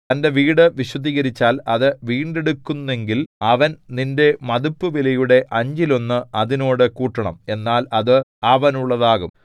തന്റെ വീടു വിശുദ്ധീകരിച്ചാൽ അത് വീണ്ടെടുക്കുന്നെങ്കിൽ അവൻ നിന്റെ മതിപ്പുവിലയുടെ അഞ്ചിലൊന്ന് അതിനോട് കൂട്ടണം എന്നാൽ അത് അവനുള്ളതാകും